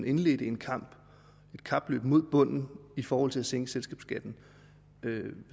indledt et kapløb mod bunden i forhold til at sænke selskabsskatten